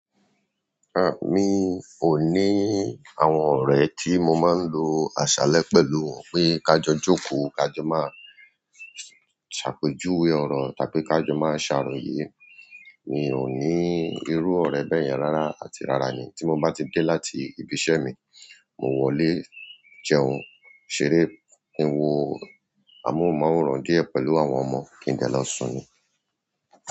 A! Mí ò ní àwọn ọ̀rẹ́ tí mo máa ń lo àṣálẹ́ pẹ̀lú wọn pé ká jọ jókòó, ká jọ máa ṣàpèjúwe ọ̀ro tàbí ká jọ máa ṣàròyé. Mi ò ní irú ọ̀rẹ́ bẹ́yẹn rárá àti rárá ni. Tí mo bá ti dé láti ibi iṣẹ́ mi, mo wọlé, jẹun, ṣeré, wo àmúhumáwòrán díẹ̀ pẹ̀lú àwọn ọmọ kí n dẹ́ lọ sùn ni.